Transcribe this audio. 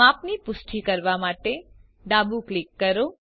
માપની પુષ્ટિ કરવા માટે ડાબું ક્લિક કરો